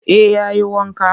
Eh ya yi wanka